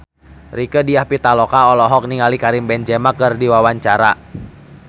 Rieke Diah Pitaloka olohok ningali Karim Benzema keur diwawancara